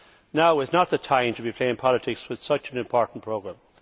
Now is not the time to be playing politics with such an important programme.